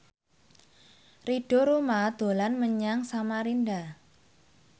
Ridho Roma dolan menyang Samarinda